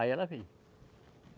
Aí ela veio.